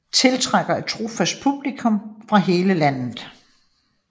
Tiltrækker et trofast publikum fra hele landet